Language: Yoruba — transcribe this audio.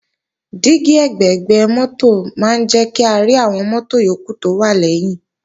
Dígí ẹ̀gbẹ̀gbẹ́ mọ́tò máa ń jẹ́ kárí àwọn mọ́tò yókù tó wà lẹ́yìn